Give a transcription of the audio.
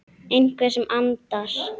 Einhver sem andar.